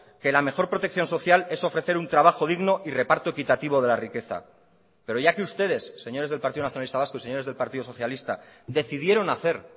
que la mejor protección social es ofrecer un trabajo digno y reparto equitativo de la riqueza pero ya que ustedes señores del partido nacionalista vasco y señores del partido socialista decidieron hacer